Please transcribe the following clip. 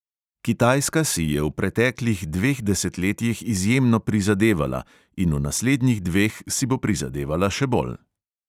Kitajska si je v preteklih dveh desetletjih izjemno prizadevala in v naslednjih dveh si bo prizadevala še bolj.